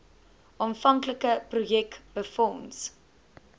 aanvanklike projek befonds